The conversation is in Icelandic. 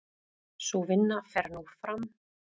Sú vinna fer nú fram.